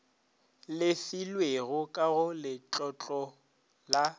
lefilwego ka go letlotlo la